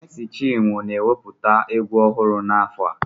Mèési chinwo ga eweputa egwu ohuru na afo a